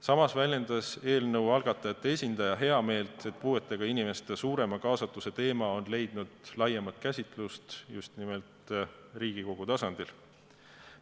Samas väljendas eelnõu algatajate esindaja heameelt, et puuetega inimeste suurema kaasatuse teema on leidnud laiemat käsitlust just nimelt Riigikogu tasandil.